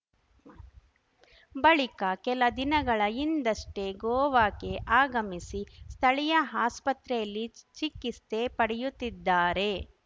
ಬಳಿಕ ಕೆಲ ದಿನಗಳ ಹಿಂದಷ್ಟೇ ಗೋವಾಕ್ಕೆ ಆಗಮಿಸಿ ಸ್ಥಳೀಯ ಆಸ್ಪತ್ರೆಯಲ್ಲಿ ಚಿಕಿಸ್ತೆ ಪಡೆಯುತ್ತಿದ್ದಾರೆ